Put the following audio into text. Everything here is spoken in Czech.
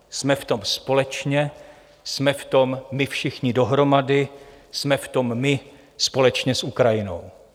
Jsme v tom společně, jsme v tom my všichni dohromady, jsme v tom my společně s Ukrajinou.